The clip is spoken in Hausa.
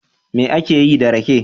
Me ake yi da rake?